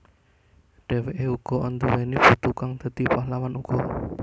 Dheweke uga anduwèni putu kang dadi pahlawan uga